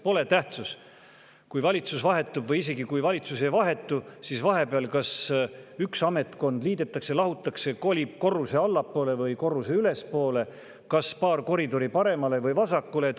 Pole tähtsust, kas valitsus vahetub või ei vahetu, isegi siis, kui valitsus ei vahetu, vahepeal üks ametkond liidetakse, midagi lahutatakse, keegi kolib korruse allapoole või korruse ülespoole, paar koridori paremale või vasakule.